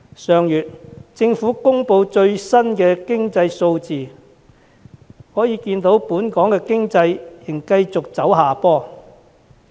上月政府公布最新經濟數字，可見本港經濟仍繼續走下坡。